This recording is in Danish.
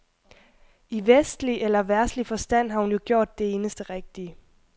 I vestlig eller verdslig forstand har hun jo gjort det eneste rigtige.